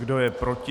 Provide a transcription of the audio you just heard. Kdo je proti?